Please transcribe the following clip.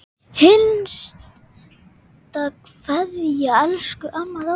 HINSTA KVEÐJA Elsku amma Dóra.